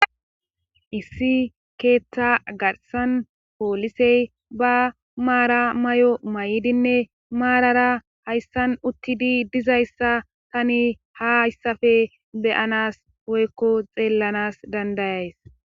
Issi keethta garsan poolisey ba maara may'o may'idinne maarara hayssan uttidi dizayssa tani ha ayssafe beyanas hoykko xeellanas dandayays.